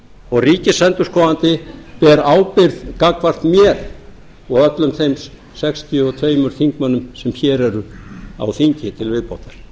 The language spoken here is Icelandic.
og ríkisendurskoðandi ber ábyrgð gagnvart mér og öllum þeim sextíu og tveimur þingmönnum sem hér eru á þingi til viðbótar